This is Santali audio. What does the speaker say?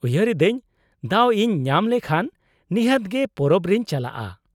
-ᱩᱭᱦᱟᱹᱨ ᱮᱫᱟᱹᱧ ᱫᱟᱣ ᱤᱧ ᱧᱟᱢ ᱞᱮᱠᱷᱟᱱ ᱱᱤᱦᱟᱹᱛ ᱜᱮ ᱯᱚᱨᱚᱵ ᱨᱮᱧ ᱪᱟᱞᱟᱜᱼᱟ ᱾